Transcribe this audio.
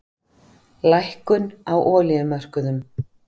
Lækkun á olíumörkuðum